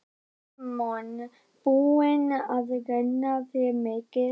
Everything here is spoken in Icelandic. Símon: Búin að renna þér mikið?